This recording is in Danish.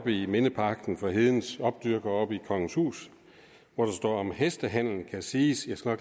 i mindeparken for hedens opdyrkere oppe i kongenshus hvor der står at om hestehandel kan siges jeg skal